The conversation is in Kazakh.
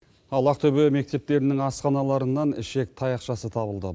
ал ақтөбе мектептерінің асханаларынан ішек таяқшасы табылды